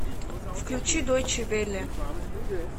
включи дойче велле